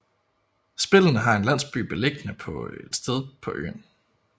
Spillene har en landsby beliggende på et sted på øen